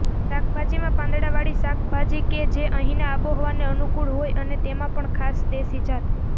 શાકભાજીમાં પાંદડાવાળી શાકભાજી કે જે અહીના આબોહવાને અનુકૂળ હોય અને તેમાં પણ ખાસ દેશી જાત